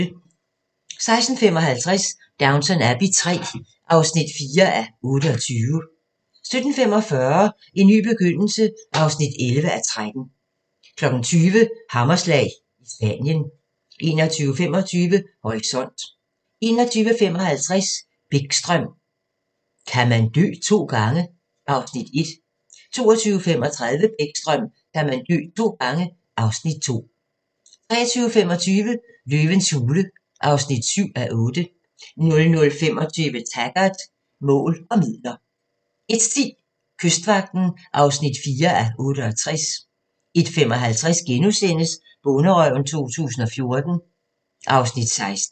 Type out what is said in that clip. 16:55: Downton Abbey III (4:28) 17:45: En ny begyndelse (11:13) 20:00: Hammerslag – i Spanien 21:25: Horisont 21:55: Bäckström: Kan man dø to gange? (Afs. 1) 22:35: Bäckström: Kan man dø to gange? (Afs. 2) 23:25: Løvens hule (7:8) 00:25: Taggart: Mål og midler 01:10: Kystvagten (4:68) 01:55: Bonderøven 2014 (Afs. 16)*